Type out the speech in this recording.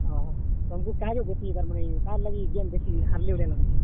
ଓହୋ, ତମକୁ କେଁ ହେଲାଯେ ବେଶୀ ତାର୍ ମାନେ କାହାର୍ ଲାଗି ଇ game ବେଶୀ ହାର୍ ଲେ ଭଲିଆ ଲାଗୁଛେ?